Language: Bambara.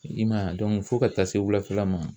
I man ye a fo ka taa se wulafɛla ma.